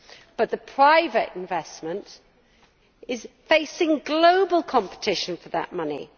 But the private investment is facing global competition for that money.